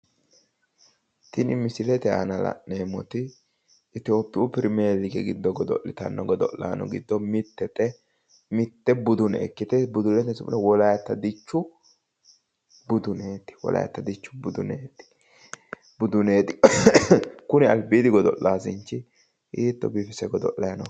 Tini misilete aana la'neemoti ethiopiyu premier league giddo godoli'tano godo'laano giddo mitete, mitte budune ikkite budunete su'mino wolayita dichu buduneti kuni alibiidi godo'lanichi hiito biifise godo'layi no..